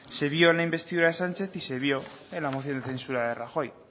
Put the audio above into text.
se vio en la investidura de sánchez y se vio en la moción de censura de rajoy